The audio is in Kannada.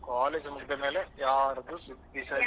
College ಮುಗಿದ ಮೇಲೆ ಯಾರದ್ದು ಸುದ್ದಿಸಾ ಇಲ್ಲ.